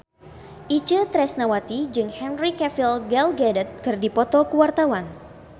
Itje Tresnawati jeung Henry Cavill Gal Gadot keur dipoto ku wartawan